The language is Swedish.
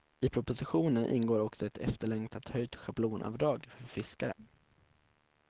I propositionen ingår också ett efterlängtat höjt schablonavdrag för fiskare.